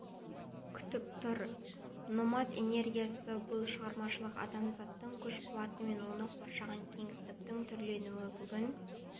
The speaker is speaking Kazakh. күтіп тұр номад энергиясы бұл шығармашылық адамзаттың күш-қуаты мен оны қоршаған кеңістіктің түрленуі бүгін